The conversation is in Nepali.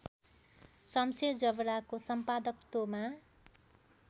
शमशेर जबराको सम्पादकत्वमा